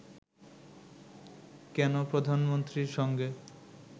কেন প্রধানমন্ত্রীর সঙ্গে